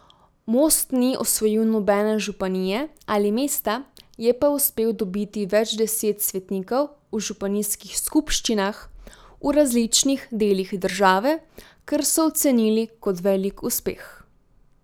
Most ni osvojil nobene županije ali mesta, je pa uspel dobiti več deset svetnikov v županijskih skupščinah v različnih delih države, kar so ocenili kot velik uspeh.